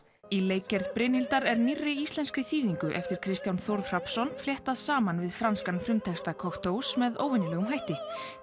í leikgerð Brynhildar er nýrri íslenskri þýðingu eftir Kristján Þórð Hrafnsson fléttað saman við franskan frumtexta með óvenjulegum hætti